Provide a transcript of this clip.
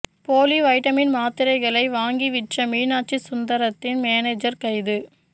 போலி வைட்டமின் மாத்திரைகளை வாங்கி விற்ற மீனாட்சி சுந்தரத்தின் மேனேஜர் கைது